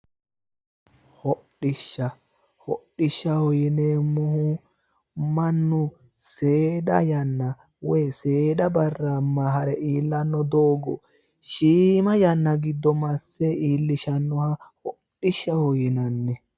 Hodhishsha hodhishshaho yineemmohu mannu seeda yanna woyi seeda barra hare iillanno doogo shiima yanna giddo masse iillishannoha hodhishshaho yinanni.